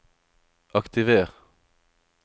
aktiver